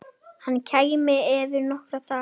Hann kæmi eftir nokkra daga.